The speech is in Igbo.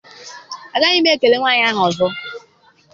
Agaghị m ekele nwaanyị ahụ ọzọ.